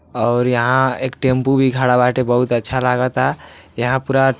और यहाँ एक टेम्पु भी खड़ा बाटे बहुत अच्छा लगता यहाँ पूरा --